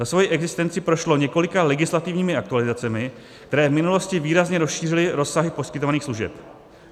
Za svoji existenci prošlo několika legislativními aktualizacemi, které v minulosti výrazně rozšířily rozsahy poskytovaných služeb.